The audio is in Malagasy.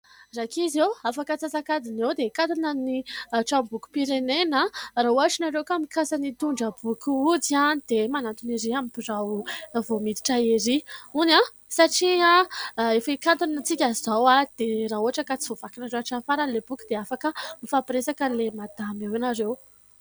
Rankizy o ? Afaka antsasakadiny eo dia hikatona ny tranom-bokim-pirenena an! Raha ohatra ianareo ka mikasa ny hitondra boky hody dia manantona ery amin'ny birao vao miditra ery. Hono an ? Satria efa hikatona isika izao dia raha ohatra ka tsy voavakinareo hatramin'ny farany ilay boky dia afaka mifampiresaka amin'ilay madama eo ianareo.